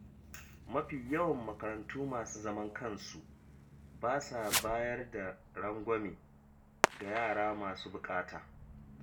Mafi yawan makarantu masu zaman kansu ba sa bayar da rangwame ga yara masu buƙata.